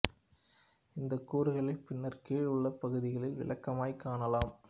இந்தக் கூறுகளை பின்னர் கீழே உள்ள பகுதிகளில் விளக்கமாகக் காணலாம்